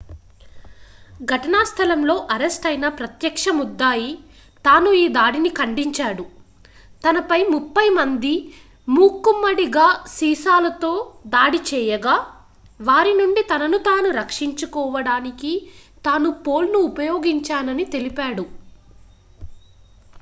ఘటనా స్థలంలో అరెస్ట్ అయిన ప్రత్యక్ష ముద్దాయి తాను ఈ దాడిని ఖండించాడు తనపై ముప్పై మంది మూకుమ్మడిగా సీసాలతో దాడి చేయగా వారి నుండి తనను తాను రక్షించుకోవడానికి తాను పోల్ను ఉపయోగించానని తెలిపాడు